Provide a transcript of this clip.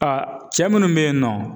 A cɛ minnu be yen nɔ